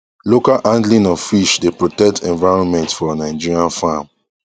local handling of fish dey protect environment for nigerian farm